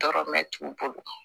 Tɔɔrɔ mɛn t'u bolo